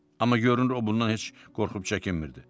Amma görünür o bundan heç qorxub çəkinmirdi.